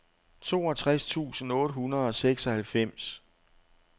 toogtres tusind otte hundrede og seksoghalvfems